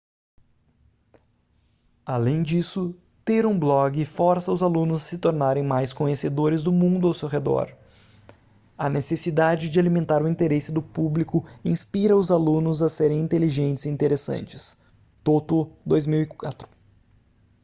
além disso ter um blog força os alunos a se tornarem mais conhecedores do mundo ao seu redor". a necessidade de alimentar o interesse do público inspira os alunos a serem inteligentes e interessantes toto 2004